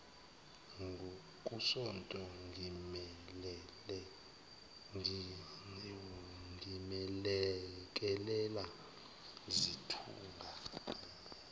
kusonto ngimelekelela sithunga